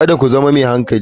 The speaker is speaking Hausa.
Kada ku zama mai hankali.